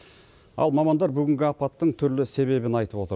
ал мамандар бүгінгі апаттың түрлі себебін айтып отыр